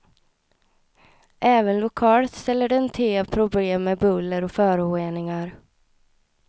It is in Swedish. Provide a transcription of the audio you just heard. Även lokalt ställer den till problem med buller och föroreningar.